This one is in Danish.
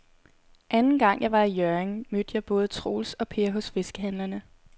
Anden gang jeg var i Hjørring, mødte jeg både Troels og Per hos fiskehandlerne.